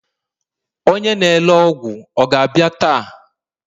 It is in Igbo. onye na-ere ọgwụ ọ ga-abịa taa?